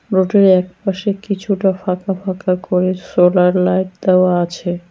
নোডির একপাশে কিছুটা ফাঁকা ফাঁকা করে সোলার লাইট দেওয়া আছে।